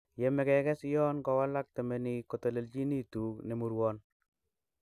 Yome kekes yon kowalak temenik kotolelionitu nemurwon.